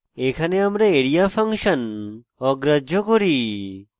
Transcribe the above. এখানে আমরা area function অগ্রাহ্য করি